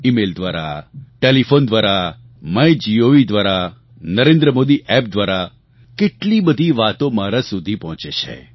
email દ્વારા telephone દ્વારા MyGov દ્વારા નરેન્દ્ર મોદી એપ દ્વારા કેટલી બધી વાતો મારા સુધી પહોંચે છે